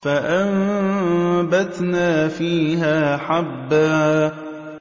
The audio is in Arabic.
فَأَنبَتْنَا فِيهَا حَبًّا